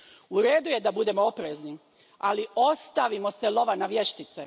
U redu je da budemo oprezni, ali ostavimo se lova na vještice.